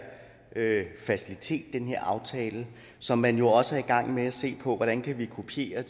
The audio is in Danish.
facilitet den her aftale som man jo også er i gang med at se på hvordan vi kan kopiere